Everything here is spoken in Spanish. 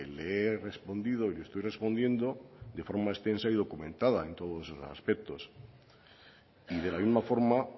le he respondido y le estoy respondiendo de forma extensa y documentada en todos esos aspectos y de la misma forma